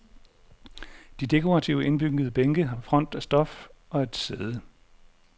De dekorative indbyggede bænke har front af stof og et sæde.